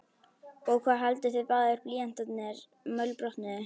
Og hvað haldið þið báðir blýantarnir mölbrotnuðu!